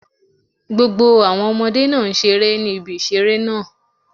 Gbogbo àwọn Ọmọdé náà n seré ní ibi ìṣeré náà